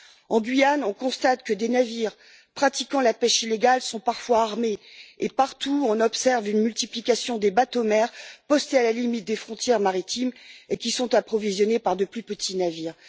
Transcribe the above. En Guyane, on constate que des navires pratiquant la pêche illégale sont parfois armés et, partout, on observe une multiplication des bateaux mères postés à la limite des frontières maritimes et approvisionnés par de plus petits navires.